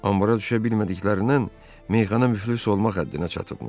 Anbara düşə bilmədiklərindən meyxana müflis olmaq həddinə çatıbmış.